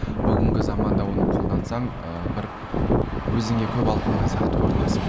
бүгінгі заманда оны қолдансаң ыыы бір өзіңе көп алып қойған сияқты көрінесің